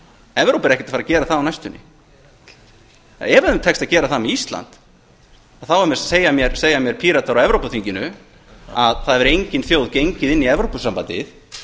evrópa er ekkert að fara að gera það á næstunni ef þeim tekst að gera það með ísland þá segja mér píratar á evrópuþinginu að það hafi engin þjóð gengið inn í evrópusambandið